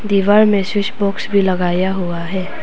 दीवार में switch box भी लगाया हुआ है।